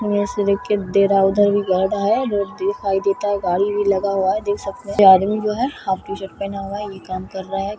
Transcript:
ये देखिए दे रहा है उधर भी कर रहा है रोड दिखाई देता गाड़ी लगा हुआ है देख सकते हैं आदमी जो है हाफ टी-शर्ट पहना हुआ है ये काम कर रहा है।